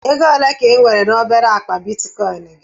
Ego ole ka ị nwere na obere akpa Bitikoin gị?